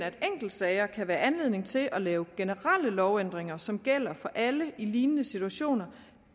at enkeltsager kan være anledning til at lave generelle lovændringer som gælder for alle i lignende situationer